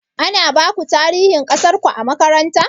Ana baku tarihin ƙasarku a makaranta?